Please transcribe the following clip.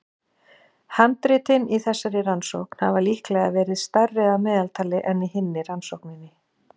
Handritin í þessari rannsókn hafa líklega verið stærri að meðaltali en í hinni rannsókninni.